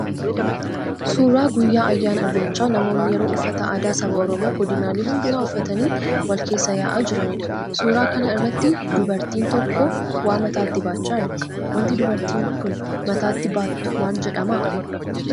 Suuraa guyyaa ayyaana irreechaa namoonni yeroo uffata aadaa saba Oromoo godinaalee hundumaa uffatanii wal keessa ya'aa jiraniidha. Suuraa kana irratti dubartiin tokko waa mataatti baachaa jirti. Waanti dubartiin sun mataatti baattu maal jedhama?